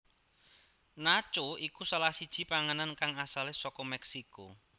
Nacho iku salah siji panganan kang asale saka Meksiko